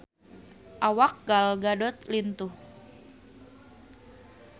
Awak Gal Gadot lintuh